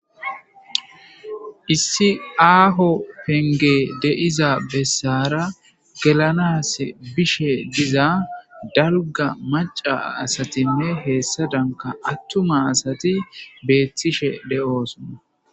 Issi aaho penge deiza bessara gelanas bishe diza darga maca asatinne heessadanka attuma asati beethtishe de'osonna